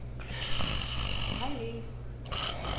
алейск